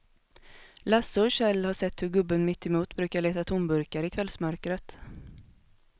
Lasse och Kjell har sett hur gubben mittemot brukar leta tomburkar i kvällsmörkret.